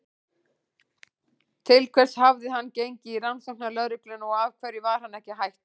Til hvers hafði hann gengið í Rannsóknarlögregluna og af hverju var hann ekki hættur?